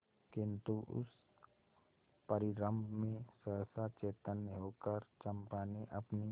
किंतु उस परिरंभ में सहसा चैतन्य होकर चंपा ने अपनी